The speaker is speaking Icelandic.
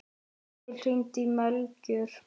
Edil, hringdu í Melkjör.